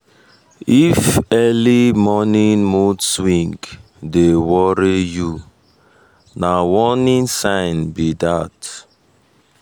if early morning mood swing dey worry you na warning sign be that.